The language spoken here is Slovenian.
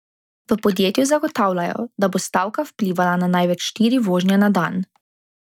V podjetju zagotavljajo, da bo stavka vplivala na največ štiri vožnje na dan.